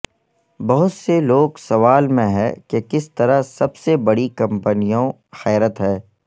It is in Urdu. بہت سے لوگ سوال میں ہے کہ کس طرح سب سے بڑی کمپنیوں حیرت ہے